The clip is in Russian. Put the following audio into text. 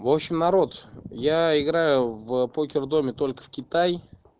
в общем народ я играю в покердоме только в китай